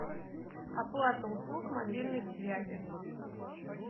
оплата услуг мобильной связи